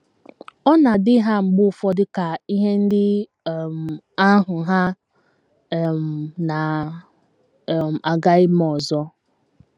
Ọ na - adị ha mgbe ụfọdụ ka ihe ndị um ahụ hà um na - um aga ime ọzọ.